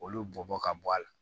Olu bɔbɔ ka bɔ a la